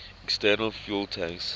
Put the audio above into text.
external fuel tanks